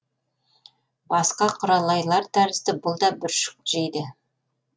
басқа құралайлар тәрізді бұл да бүршік жейді